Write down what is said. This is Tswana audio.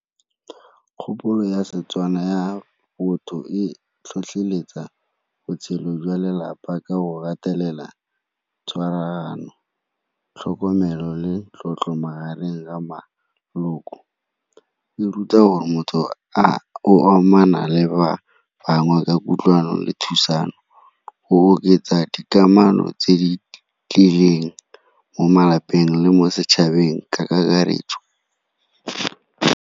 Kgopolo ya Setswana ya botho e tlhotlheletsa botshelo jwa lelapa ka go gatelela tshwaragano, tlhokomelo le tlotlo magareng ga maloko. E ruta gore motho o amana le ba bangwe ka kutlwano le thusang mo go oketsa dikamano tse di tlileng mo malapeng le mo setšhabeng ka kakaretso.